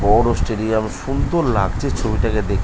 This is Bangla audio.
বড় স্টেডিয়াম সুন্দর লাগছে ছবি টাকে দে--